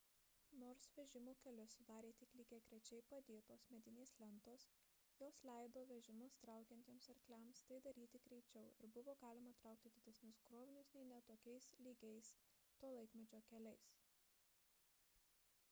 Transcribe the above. nors vežimų kelius sudarė tik lygiagrečiai padėtos medinės lentos jos leido vežimus traukiančiems arkliams tai daryti greičiau ir buvo galima traukti didesnius krovinius nei ne tokiais lygiais to laikmečio keliais